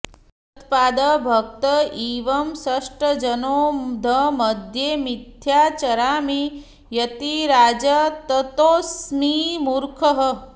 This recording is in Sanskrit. त्वत्पादभक्त इव शिष्टजनौघमध्ये मिथ्या चरामि यतिराज ततोऽस्मि मूर्खः